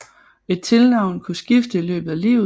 Et tilnavn kunne skifte i løbet af livet